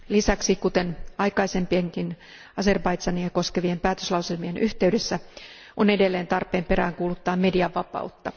Lisäksi, kuten aikaisempienkin Azerbaidžania koskevien päätöslauselmien yhteydessä, on edelleen tarpeen peräänkuuluttaa median vapautta.